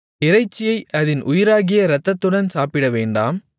இறைச்சியை அதின் உயிராகிய இரத்தத்துடன் சாப்பிடவேண்டாம்